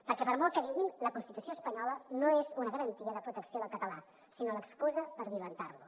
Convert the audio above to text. perquè per molt que diguin la constitució espanyola no és una garantia de protecció del català sinó l’excusa per violentar lo